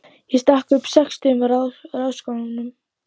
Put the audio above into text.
Ég stakk upp á sextugum ráðskonum.